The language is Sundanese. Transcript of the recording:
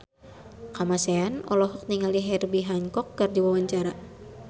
Kamasean olohok ningali Herbie Hancock keur diwawancara